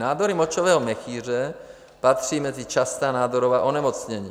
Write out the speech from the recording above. Nádory močového měchýře patří mezi častá nádorová onemocnění.